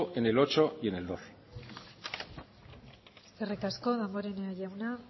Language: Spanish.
en el ocho y en el doce eskerrik asko damborenea jauna